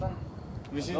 Çox de.